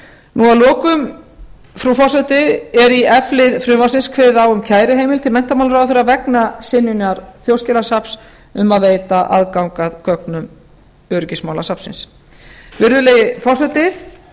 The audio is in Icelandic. þagnarskyldureglum að lokum frú forseti er í f lið frumvarpsins kveðið á um kæruheimild til menntamálaráðherra vegna synjunar þjóðskjalasafns um að veita aðgang að gögnum öryggismálasafnsins virðulegi forseti